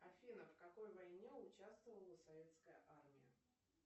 афина в какой войне участвовала советская армия